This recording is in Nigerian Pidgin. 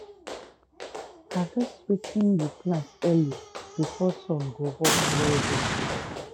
harvest wetin you plant early before sun go hot well well